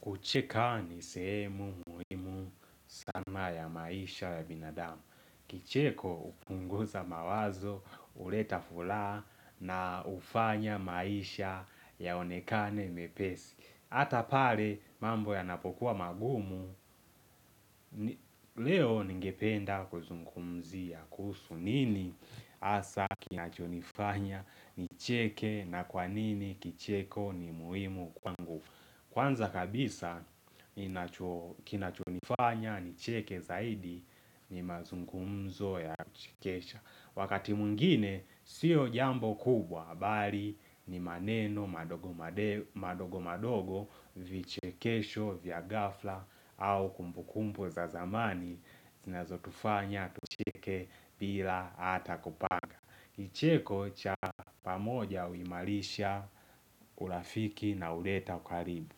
Kucheka ni sehemu muhimu sama ya maisha ya binadamu. Kicheko hupunguza mawazo, huleta furaha na hufanya maisha yaonekane mepesi. Hata pale mambo ya napokuwa magumu, leo ningependa kuzungumzia kuhusu nini hasa kinachonifanya ni cheke na kwanini kicheko ni muhimu kwangu. Kwanza kabisa, kinachonifanya, nicheke zaidi, ni mazungumzo ya uchikesha Wakati mwingine, sio jambo kubwa, bali ni maneno, madogo madogo, vichekesho, vya ghafla au kumbukumpu za zamani, zinazo tufanya, tucheke, bila ata kupanga kIcheko cha pamoja huimalisha, urafiki na huleta ukaribu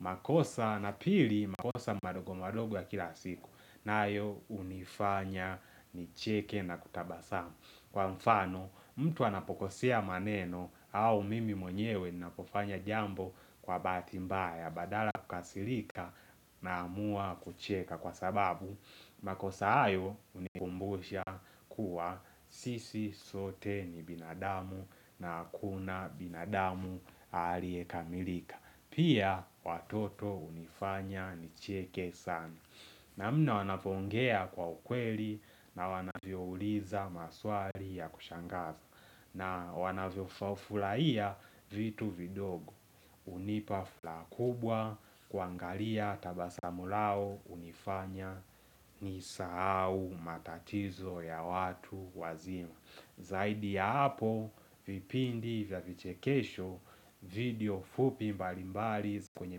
makosa na pili makosa madogo madogo ya kila siku na ayo hunifanya ni cheke na kutabasamu Kwa mfano mtu anapokosea maneno au mimi mwenyewe napofanya jambo kwa bahatimbaya Badala ya kukasilika naamua kucheka kwa sababu makosa hayo hunikumbusha kuwa sisi sote ni binadamu na hakuna binadamu alie kamilika Pia watoto unifanya ni chieke sana namna wanapongea kwa ukweli na wanavyo uliza maswali ya kushangaza na wanavyo furahia vitu vidogo hunipa furaha kubwa kuangalia tabasamu lao hunifanya nisahau matatizo ya watu wazima Zaidi ya hapo vipindi vya vichekesho video fupi mbalimbali kwenye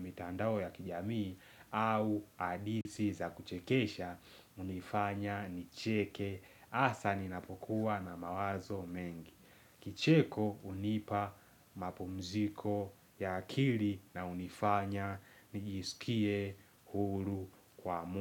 mitandao ya kijamii au hadithi za kuchekesha hunifanya nicheke hasa ninapokuwa na mawazo mengi Kicheko hunipa mapumziko ya akiri na hunifanya nijisikie huru kwa mulu.